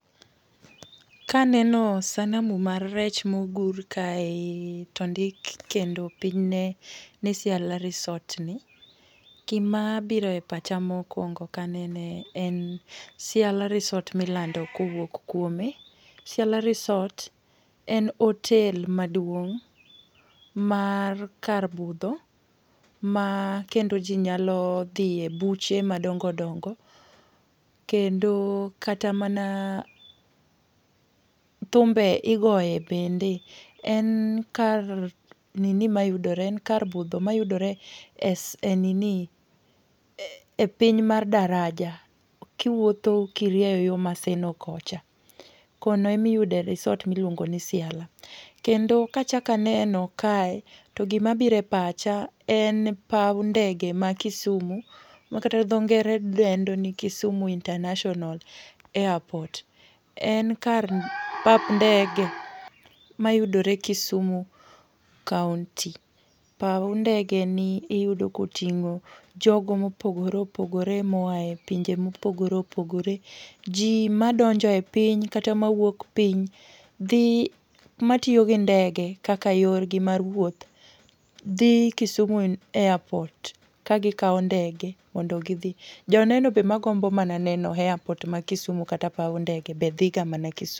Kaneno, sanamu mar rech mogur ka ei to ndik kendo piny ne ni Ciala resort ni, gimabiro e pacha mokwongo kanene en Ciala resort milando kowuok kuome. Ciala resort en hotel maduong' mar kar budho ma kendo ji nyalo dhi e buche madongo dongo kendo kata mana, thumbe, igoye bende. En kar nini mayudore, en kar budho mayudore e e nini. E piny mar Daraja kiwuotho kirieyo yo Maseno kocha. Kono ema iyude resort ma iluongo ni Ciala. Kendo kachak aneno kae, to gima biro pacha en paw ndege ma Kisumu, ma kata dhongere dendno ni Kisumu International Airport. En kar pap ndege mayudore Kisumu Kaunti. Paw ndege ni iyudo koting'o, jogo mopogore opogore moae, pinje mopogore opogore. Ji madonjo e piny, kata mawuok piny, dhi, matiyogi ndege kaka yorgi mar wuoth, dhi Kisumu Airport ka gikao ndege mondo gi dhi. Joneno be magombo mana neno airport ma Kisumu kata paw ndege bedhi ga mana Kisumu.